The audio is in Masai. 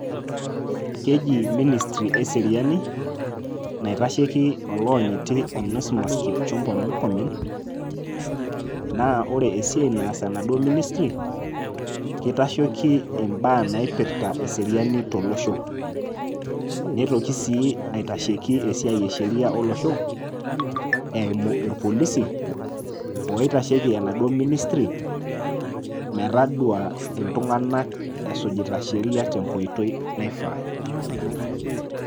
Keji minisiri eseriani naitasheiki oloonyiti onesmus kipchumpa murkomen naa ore esiai naas enaduo minisiri ketasheiki ebaa naipirta eseriani tolosho. Neitoki sii aitasheki esiai esheria olosho eimu irpolisi oitasheki enaduo minisiri metadua iltung'anak esujita sheria tenkoitoi naifaa.